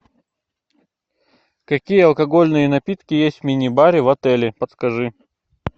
какие алкогольные напитки есть в мини баре в отеле подскажи